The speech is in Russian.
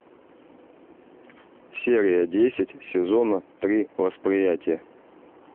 серия десять сезона три восприятие